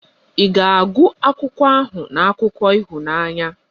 Ị ga-agụ akwụkwọ ahụ na akụkọ ịhụnanya?.